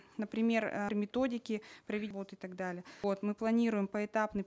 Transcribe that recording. например э при методике вот и так далее вот мы планируем поэтапный